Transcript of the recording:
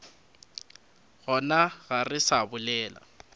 gona ga re sa bolela